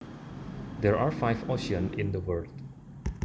There are five oceans in the world